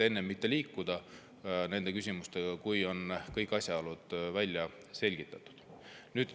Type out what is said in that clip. Enne liikuda nende küsimustega, kuni on kõik asjaolud välja selgitatud.